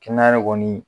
Kɛnɛya yɛrɛ kɔni